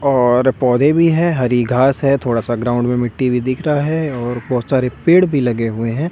और पौधे भी है हरी घास है थोड़ा सा ग्राउंड में मिट्टी भी दिख रहा है और बहुत सारे पेड़ भी लगे हुए हैं।